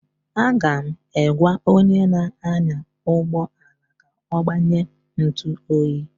Aga m egwa onye na anya ụgbọala ka ọ gbanye ntụ oyi